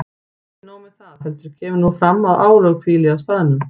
Og ekki nóg með það, heldur kemur nú fram að álög hvíli á staðnum.